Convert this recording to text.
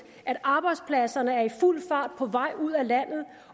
at arbejdspladserne er i fuld fart på vej ud af landet